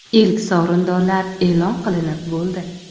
Ilk sovrindorlar e’lon qilinib bo‘ldi.